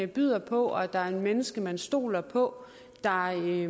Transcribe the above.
byder på at der er et menneske man stoler på der er